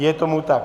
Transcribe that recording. Je tomu tak.